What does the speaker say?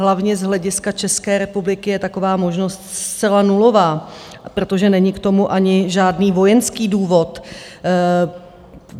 Hlavně z hlediska České republiky je taková možnost zcela nulová, protože není k tomu ani žádný vojenský důvod.